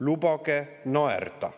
Lubage naerda!